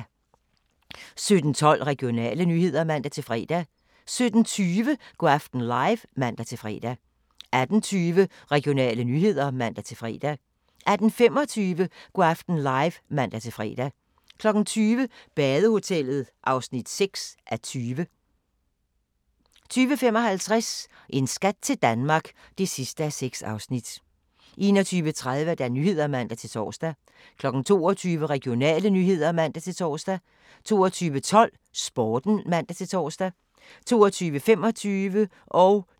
17:12: Regionale nyheder (man-fre) 17:20: Go' aften live (man-fre) 18:20: Regionale nyheder (man-fre) 18:25: Go' aften live (man-fre) 20:00: Badehotellet (6:20) 20:55: En skat til Danmark (6:6) 21:30: Nyhederne (man-tor) 22:00: Regionale nyheder (man-tor) 22:12: Sporten (man-tor) 22:25: Natholdet (man-tor)